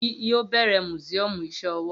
Gozie yoo bẹrẹ musiọmu iṣẹ ọwọ